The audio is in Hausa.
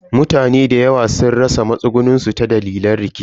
Mutane dayawa sun rasa matsugunin su ta dalilin rikici.